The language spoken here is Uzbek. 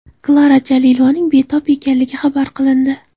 Klara Jalilovaning betob ekanligi xabar qilindi.